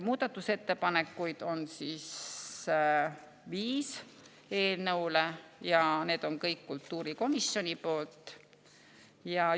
Muudatusettepanekuid eelnõu kohta on viis ja need on kõik kultuurikomisjoni.